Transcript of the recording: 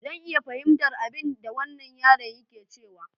Zan iya fahimtar abinda wannan yaron yake cewa.